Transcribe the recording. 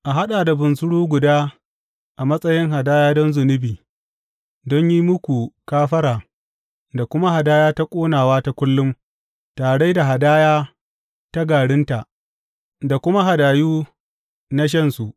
A haɗa da bunsuru guda a matsayin hadaya don zunubi, don yin muku kafara da kuma hadaya ta ƙonawa ta kullum; tare da hadaya ta garinta, da kuma hadayu na shansu.